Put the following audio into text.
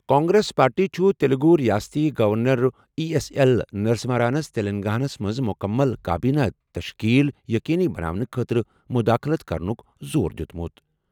Congress party چھُ تیلگوٗ ریاستی governor E S L نرسمہانَس تلنگانہ ہَس منٛز مُکمل کابینہ تشکیل یقینی بناونہٕ خٲطرٕ مداخلت کرنُک زور دِیُتمُت۔